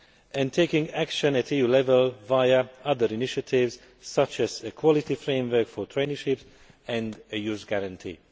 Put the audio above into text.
and taking action at EU level via other initiatives such as a Quality Framework for Traineeships and a Youth Guarantee.